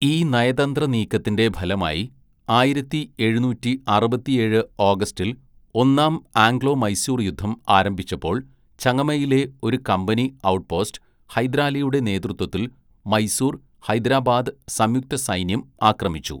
ഈ നയതന്ത്ര നീക്കത്തിന്റെ ഫലമായി ആയിരത്തി എഴുന്നൂറ്റി അറുപത്തിയേഴ്‌ ഓഗസ്റ്റിൽ ഒന്നാം ആംഗ്ലോ-മൈസൂർ യുദ്ധം ആരംഭിച്ചപ്പോൾ ചങ്ങമയിലെ ഒരു കമ്പനി ഔട്ട്‌പോസ്‌റ്റ് ഹൈദരാലിയുടെ നേതൃത്വത്തിൽ മൈസൂർ, ഹൈദരാബാദ് സംയുക്ത സൈന്യം ആക്രമിച്ചു.